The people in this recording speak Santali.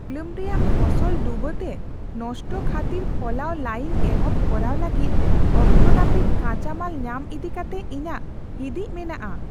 ᱛᱩᱞᱟᱹᱢ ᱨᱮᱭᱟᱜ ᱯᱷᱚᱥᱚᱞ ᱰᱩᱵᱟᱹᱛᱮ ᱱᱚᱥᱴᱚ ᱠᱷᱟᱹᱛᱤᱨ ᱯᱷᱚᱞᱟᱣ ᱞᱟᱹᱭᱤᱱ ᱮᱦᱚᱵ ᱠᱚᱨᱟᱣ ᱞᱟᱹᱜᱤᱫ ᱚᱠᱛᱚ ᱱᱟᱹᱯᱤᱛ ᱠᱟᱪᱟᱢᱟᱞ ᱧᱟᱢ ᱤᱫᱤᱠᱟᱛᱮ ᱤᱧᱟᱹᱜ ᱦᱤᱸᱫᱤᱡ ᱢᱮᱱᱟᱜᱼᱟ ᱾